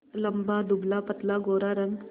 लंबा दुबलापतला गोरा रंग